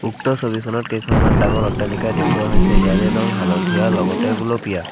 উক্ত ছবিখনত কেইখনমান ডাঙৰ অট্টালিকা দেখুৱা হৈছে ইয়াৰে ৰং হালধীয়া লগতে গুলপীয়া।